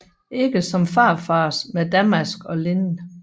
Ikke som farfars med damask og linned